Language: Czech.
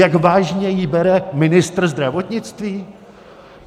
Jak vážně ji bere ministr zdravotnictví?